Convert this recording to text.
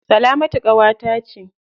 Salamata ƙawata ce.